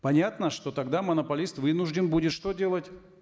понятно что тогда монополист вынужден будет что делать